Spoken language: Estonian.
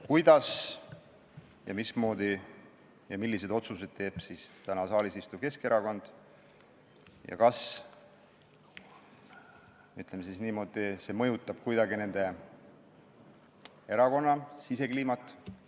Kuidas, mismoodi ja milliseid otsuseid teevad täna saalis istuvad Keskerakonna liikmed ja kas, ütleme niimoodi, see mõjutab kuidagi nende erakonna sisekliimat?